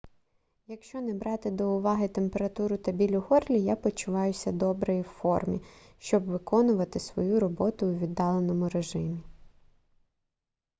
якщо не брати до уваги температуру та біль у горлі я почуваюся добре і в формі щоб виконувати свою роботу у віддаленому режимі